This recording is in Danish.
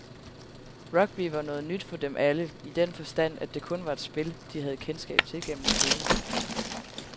Rugby var noget nyt for dem alle, i den forstand, at det kun var et spil, de havde kendskab til gennem skolen.